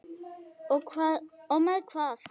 Og með hvað?